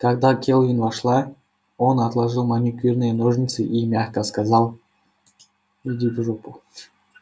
когда кэлвин вошла он отложил маникюрные ножницы и мягко сказал